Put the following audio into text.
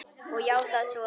Og játað svo.